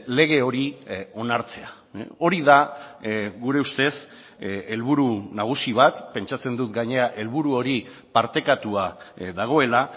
lege hori onartzea hori da gure ustez helburu nagusi bat pentsatzen dut gainera helburu hori partekatua dagoela